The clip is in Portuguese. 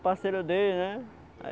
o parceiro dele né.